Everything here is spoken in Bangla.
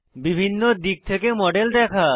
বিভিন্ন দিক থেকে মডেল দেখা